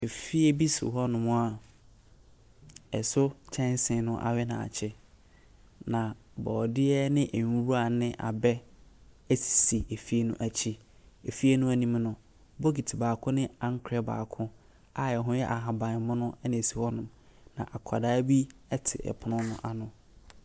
Efi bi si hɔnom a ɛso kyɛnsee no awe na akyen. Na bɔɔɔdeɛ ne nwura ne abɛ si fie no akyi. Efie no anim no, Bokiti baako ne ankorɔ baako a ɛho yɛ ahabanmono na esi hɔnom. Na akwadaa bi te ɛpono no ano.